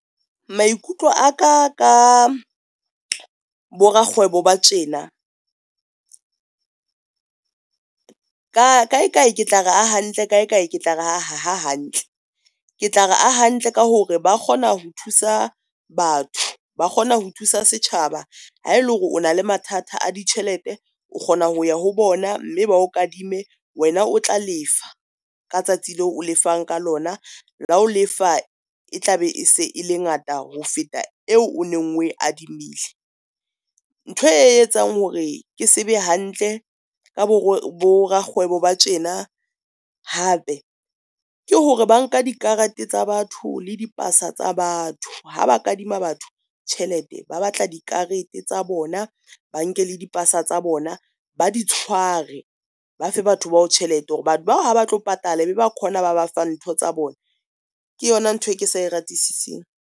Maikutlo a ka, ka bo rakgwebo ba tjena kae kae, ke tla re a hantle kae kae, ke tla re ha hantle. Ke tla re a hantle ka hore ba kgona ho thusa batho ba kgona ho thusa setjhaba. Ha ele hore o na le mathata a ditjhelete, o kgona ho ya ho bona, mme ba o kadime wena o tla lefa ka tsatsi leo o lefang ka lona la ho lefa, e tla be se e le ngata ho feta eo o neng o e adimile. Ntho e etsang hore ke sebe hantle ka bo rakgwebo ba tjena, hape ke hore ba nka dikarate tsa batho le dipasa tsa batho. Ha ba kadima batho tjhelete, ba batla di karete tsa bona, ba nke le di pasa tsa bona, ba di tshware ba fe batho bao tjhelete hore batho bao ha ba tlo patala be ba khona ba ba fang ntho tsa bona. Ke yona ntho e ke sa e ratesiseng.